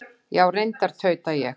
Já, reyndar, tauta ég.